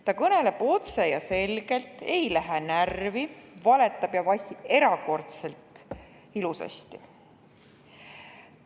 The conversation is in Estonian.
Ta kõneleb otse ja selgelt, ei lähe närvi ning valetab ja vassib erakordselt ilusasti.